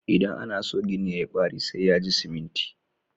Idan ana so gini ya yi ƙwari, sai ya ji siminti.